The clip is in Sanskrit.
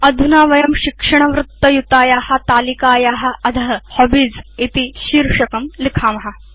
अधुना वयं शिक्षणवृत्तयुताया तालिकाया अध हॉबीज इति शीर्षकं लिखेम